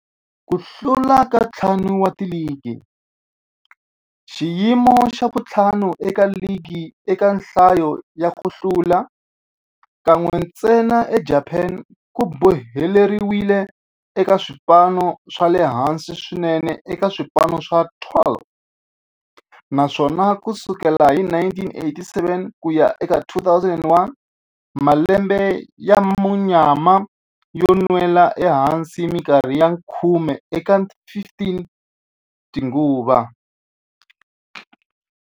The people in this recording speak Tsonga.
Ku hlula ka ntlhanu wa ligi, xiyimo xa vu-5 eka ligi eka nhlayo ya ku hlula, kan'we ntsena eJapani, ku boheleriwile eka swipano swa le hansi swinene eka swipano swa 12, naswona ku sukela hi 1987 ku ya eka 2001, malembe ya munyama yo nwela ehansi minkarhi ya khume eka 15 tinguva.